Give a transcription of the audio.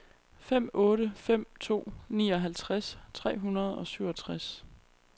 fem otte fem to nioghalvtreds tre hundrede og syvogtres